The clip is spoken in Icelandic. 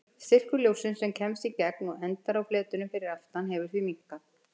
Styrkur ljóssins sem kemst í gegn og endar á fletinum fyrir aftan hefur því minnkað.